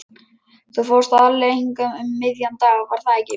Þú fórst aðallega hingað um miðjan dag, var það ekki?